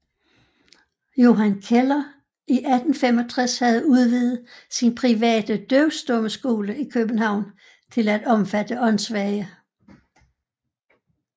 Johan Keller i 1865 havde udvidet sin private døvstummeskole i København til at omfatte åndssvage